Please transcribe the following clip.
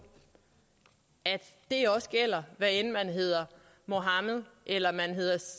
at det også gælder hvad enten man hedder mohammed eller